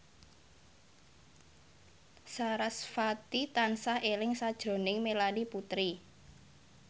sarasvati tansah eling sakjroning Melanie Putri